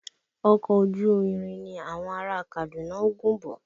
Ọkọ̀ ojú irin ni àwọn ará a Kaduna ń gùn bọ̀